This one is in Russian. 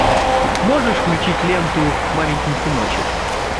можешь включить ленту маменькин сыночек